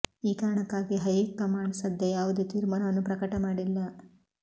ಈ ಕಾರಣಕ್ಕಾಗಿ high command ಸದ್ಯ ಯಾವುದೇ ತೀರ್ಮಾನವನ್ನು ಪ್ರಕಟ ಮಾಡಿಲ್ಲ